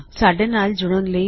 ਸਾਡੇ ਨਾਲ ਜੁੜਨ ਲਈ ਧੰਨਵਾਦ